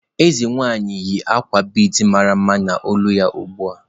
Eze nwanyị yi akwa bead mara mma n'olu ya ugbu a.